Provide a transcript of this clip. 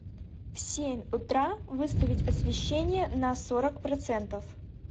в семь утра выставить освещение на сорок процентов